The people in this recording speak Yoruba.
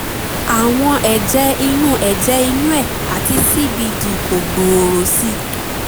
àwọn ẹ̀jẹ̀ inú ẹ̀jẹ̀ inú ẹ̀ àti cbd kò gbòòrò sí i